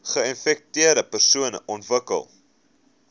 geinfekteerde persone ontwikkel